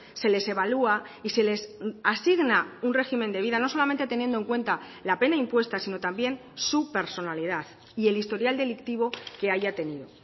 se les evalúa y se les asigna un régimen de vida no solamente teniendo en cuenta la pena impuesta sino también su personalidad y el historial delictivo que haya tenido